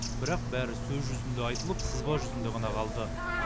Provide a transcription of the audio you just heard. бірақ бәрі сөз жүзінде айтылып сызба жүзінде ғана қалды